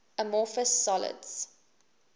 amorphous solids